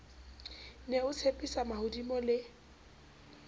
ne o ntshepisa mahodimo le